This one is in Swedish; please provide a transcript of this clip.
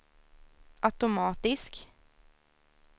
automatisk